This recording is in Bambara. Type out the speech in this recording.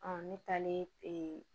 ne taalen